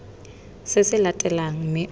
se se latelang mme o